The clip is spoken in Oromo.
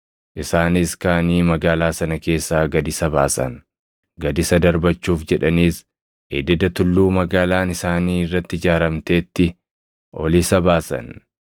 Isaanis kaʼanii magaalaa sana keessaa gad isa baasan; gad isa darbachuuf jedhaniis ededa tulluu magaalaan isaanii irratti ijaaramteetti ol isa baasan.